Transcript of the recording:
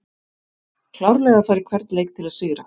Klárlega að fara í hvern leik til að sigra!